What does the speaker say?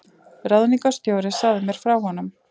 Ráðningarstjóri sagði mér frá honum.